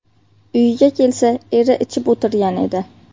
Uyiga kelsa eri ichib o‘tirgan edi.